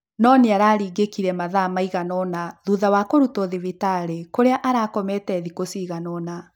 No nĩaringĩkire mathaa maigana ũna thutha wa kũrutwo thibitary kũrĩa arakomete thĩkũcigana- ona.